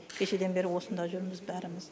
кешеден бері осында жүрміз бәріміз